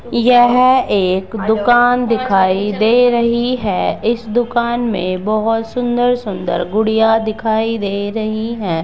यह एक दुकान दिखाई दे रही है इस दुकान में बहुत सुंदर सुंदर गुड़िया दिखाई दे रही हैं।